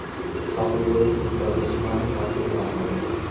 Sohilbo‘yi hududlarda sunami xavfi e’lon qilindi.